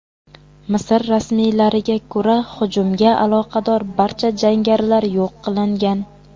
Misr rasmiylariga ko‘ra, hujumga aloqador barcha jangarilar yo‘q qilingan.